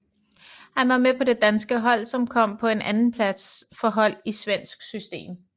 Han var med på det danske hold som kom på en andenplads for hold i svensk system